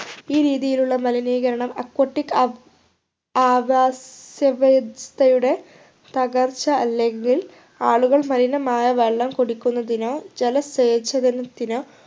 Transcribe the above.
ഈ രീതിയിലുള്ള മലിനീകരണം aquatic ആവ് ആവാസ വ്യവസ്ഥയുടെ തകർച്ച അല്ലെങ്കിൽ ആളുകൾ മലിനമായ വെള്ളം കുടിക്കുന്നതിനോ ജലസേചനത്തിനോ